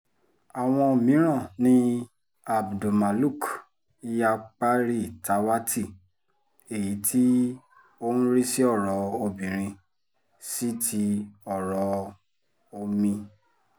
àwọn mìíràn ni abdulmaluk yaparitàwátì èyí tó ń rí sí ọ̀rọ̀ obìnrin sí ti ọ̀rọ̀ omi